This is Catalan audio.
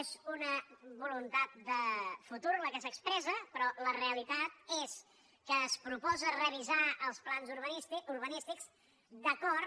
és una voluntat de futur la que s’expressa però la realitat és que es proposa revisar els plans urbanís·tics d’acord